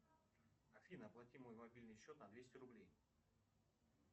афина оплати мой мобильный счет на двести рублей